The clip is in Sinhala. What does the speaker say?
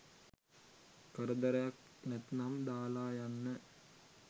කරදරයක් නැත්නම් දාල යන්න